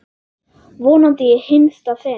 Vonandi í hinsta sinn.